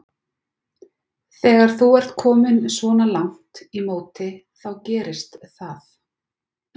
Þegar þú ert kominn svona langt í móti þá gerist það.